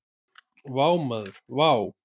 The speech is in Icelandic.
Vá maður vá!